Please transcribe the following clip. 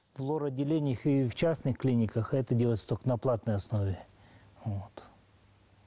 в лор отделениях и в частных клиниках это делается только на платной основе вот